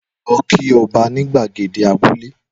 Lọ kí ọba ní gbàgede abúlé